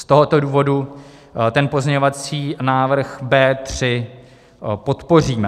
Z tohoto důvodu pozměňovací návrh B3 podpoříme.